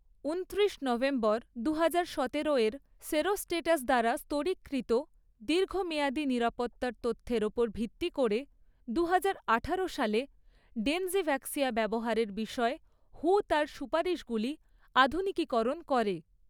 উনত্রিশ নভেম্বর দু হাজার সতেরো এর সেরোস্টেটাস দ্বারা স্তরীকৃত দীর্ঘমেয়াদী নিরাপত্তার তথ্যের ওপর ভিত্তি করে দুহাজার আঠারো সালে ডেনজিভ্যাক্সিয়া ব্যবহারের বিষয়ে হু তার সুপারিশগুলি আধুনিকীকরণ করে।